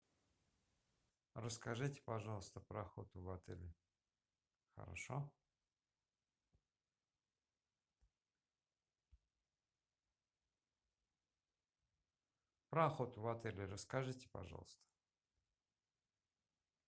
расскажите пожалуйста про охоту в отеле хорошо про охоту в отеле расскажите пожалуйста